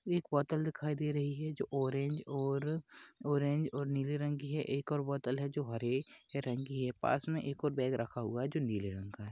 एक बोतल दिखाई दे रही है जो ऑरेंज और ऑरेंज और नीले रंग की है एक और बोतल हे जो हरे रंग की है पास मे एक और बॅग रखा हुवा हे जो नीले रंग का है।